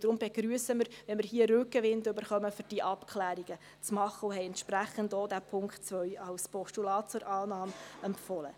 Deshalb begrüssen wir, wenn wir hier Rückenwind erhalten, um Abklärungen vorzunehmen, und wir haben entsprechend auch diesen Punkt 2 als Postulat zur Annahme empfohlen.